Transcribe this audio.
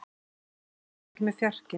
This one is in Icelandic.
Lúðvík, hvenær kemur fjarkinn?